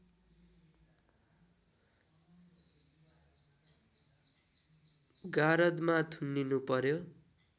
गारदमा थुनिनुपर्‍यो